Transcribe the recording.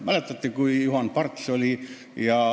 Mäletate, kui ametis oli Juhan Parts?